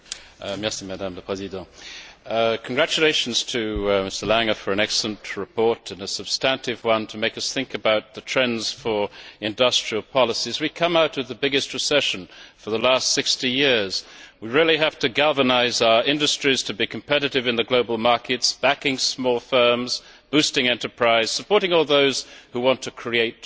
Madam President, I would like to congratulate Mr Lange on an excellent report, and a substantive one, to make us think about the trends for industrial policy. As we come out of the biggest recession for the last 60 years, we really have to galvanise our industries to be competitive in global markets backing small firms, boosting enterprise, and supporting all those who want to create jobs.